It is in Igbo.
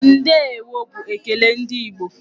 Ndeewo'' bu onye ekele ndị Igbo.